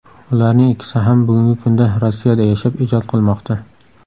Ularning ikkisi ham bugungi kunda Rossiyada yashab, ijod qilmoqda.